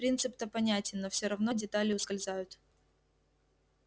принцип-то понятен но всё равно детали ускользают